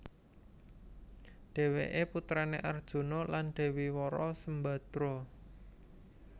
Dhèwèké putrané Arjuna lan Dèwi Wara Sembadra